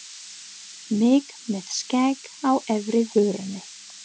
Mig með skegg á efri vörinni.